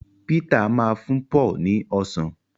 Peter má fún Paul ni ọsán